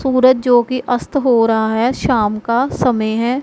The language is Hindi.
सूरज जोकि अस्त हो रहा है शाम का समय है।